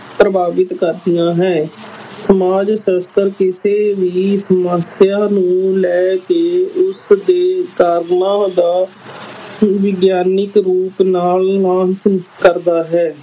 ਪ੍ਰਭਾਵਿਤ ਕਰਦੀਆਂ ਹੈ ਸਮਾਜ ਸ਼ਾਸਤਰ ਕਿਸੇ ਵੀ ਸਮੱਸਿਆ ਨੂੰ ਲੈ ਕੇ ਉਸਦੇ ਕਾਰਨਾਂ ਦਾ ਵਿਗਿਆਨਕ ਰੂਪ ਨਾਲ ਕਰਦਾ ਹੈ।